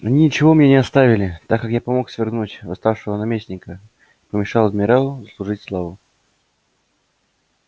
они ничего мне не оставили так как я помог свергнуть восставшего наместника и помешал адмиралу заслужить славу